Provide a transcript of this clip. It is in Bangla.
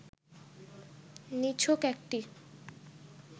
নিছক একটি